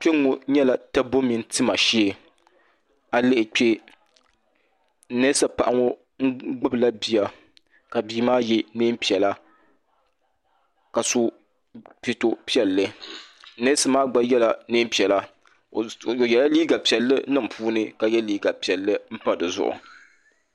kpɛ ŋɔ nyɛla tɛbu ni tima shɛɛ a lihi kpɛ nɛsipaɣ' ŋɔ gbala bia ka bia maa yɛ nɛpiɛlla ka so pɛto piɛli nɛsimaa gba yɛla nɛnpiɛlla o yɛla liga piɛli niŋ puuni ka yɛ liga piɛli pa di zuɣ